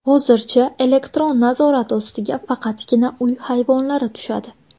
Hozircha elektron nazorat ostiga faqatgina uy hayvonlari tushadi.